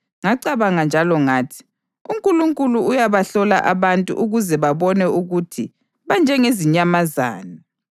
Ngacabanga njalo ngathi, “UNkulunkulu uyabahlola abantu ukuze babone ukuthi banjengezinyamazana.